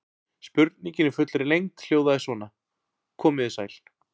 Spurningin í fullri lengd hljóðaði svona: Komið þið sæl.